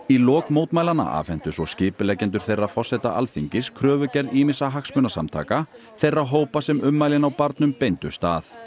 lok mótmælanna afhentu svo skipuleggjendur þeirra forseta Alþingis kröfugerð ýmissa hagsmunasamtaka þeirra hópa sem ummælin á barnum beindust að